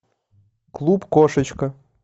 клуб кошечка